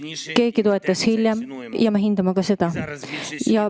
Mõni hakkas toetama hiljem ja me hindame ka seda.